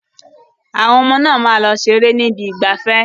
Àwọn ọmọ náà máa lọ ṣeré ni ibi ìgbafẹ́.